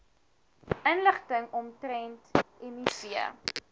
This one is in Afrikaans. inligting omtrent miv